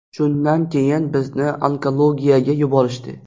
Shundan keyin bizni onkologiyaga yuborishdi.